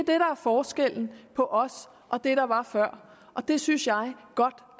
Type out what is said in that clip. forskellen på os og det der var før og det synes jeg godt